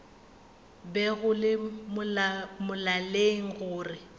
be go le molaleng gore